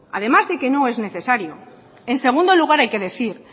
además de que no es necesario en segundo lugar hay que decir